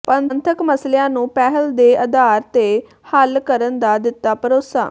ਪੰਥਕ ਮਸਲਿਆਂ ਨੂੰ ਪਹਿਲ ਦੇ ਆਧਾਰ ਤੇ ਹਲ ਕਰਨ ਦਾ ਦਿੱਤਾ ਭਰੋਸਾ